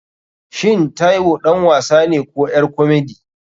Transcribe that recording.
Shin taiwo ɗan wasane ko ƴar komedi?